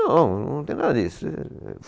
Não, não tem nada disso.